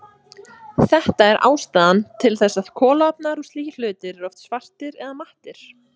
Þetta er ástæðan til þess að kolaofnar og slíkir hlutir eru oft svartir eða mattir.